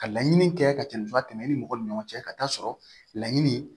Ka laɲini kɛ ka cɛnniba tɛmɛna i ni mɔgɔ ni ɲɔgɔn cɛ ka taa sɔrɔ laɲini